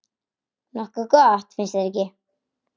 Nokkuð gott, finnst þér ekki?